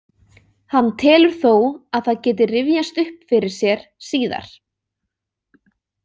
Hann telur þó að það geti rifjast upp fyrir sér síðar.